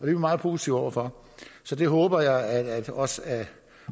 vi meget positive over for så det håber jeg også at